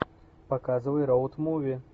показывай роуд муви